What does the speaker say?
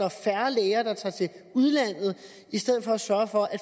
at færre læger tager til udlandet i stedet for at sørge for at